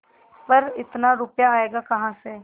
पर इतना रुपया आयेगा कहाँ से